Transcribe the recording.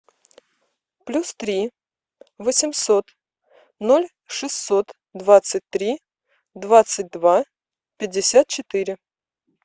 плюс три восемьсот ноль шестьсот двадцать три двадцать два пятьдесят четыре